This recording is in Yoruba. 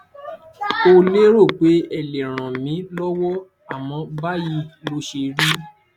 n ò lérò pé ẹ lè ràn mí lọwọ àmọ báyìí ló ṣérí